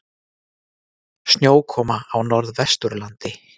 Snjókoma á Norðvesturlandi